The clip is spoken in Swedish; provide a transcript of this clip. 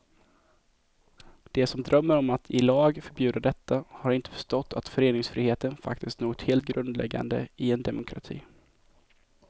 De som drömmer om att i lag förbjuda detta har inte förstått att föreningsfriheten faktiskt är något helt grundläggande i en demokrati.